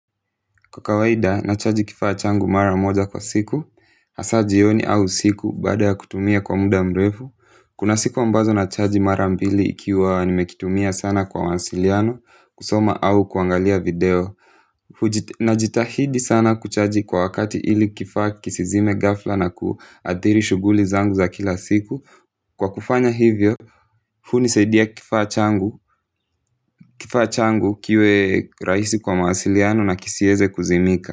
Kwa kawaida, nachaji kifaa changu mara moja kwa siku, hasa jioni au usiku baada ya kutumia kwa muda mrefu. Kuna siku ambazo nachaji mara mbili ikiwa nimekitumia sana kwa mawasiliano, kusoma au kuangalia video najitahidi sana kuchaji kwa wakati ili kifaa kisizime ghafla na kuathiri shughuli zangu za kila siku. Kwa kufanya hivyo, hunisaidia kifaa changu kiwe rahisi kwa mawasiliano na kisiweze kuzimika.